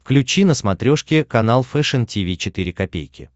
включи на смотрешке канал фэшн ти ви четыре ка